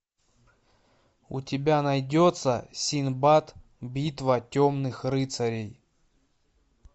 у тебя найдется синдбад битва темных рыцарей